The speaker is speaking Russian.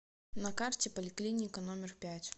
на карте поликлиника номер пять